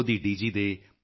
audio UNESCO DG